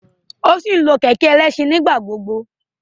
O si nlo kẹkẹ ẹlẹṣin nigbagbogbo